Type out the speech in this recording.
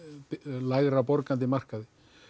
lægri borgandi markaði